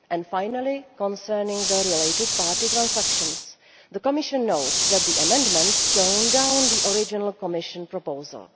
Finally, concerning related party transactions, the Commission notes that the amendments tone down the original Commission proposal.